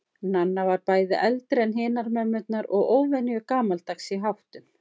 Nanna var bæði eldri en hinar mömmurnar og óvenju gamaldags í háttum.